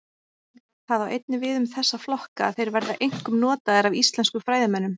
Það á einnig við um þessa flokka að þeir verða einkum notaðir af íslenskum fræðimönnum.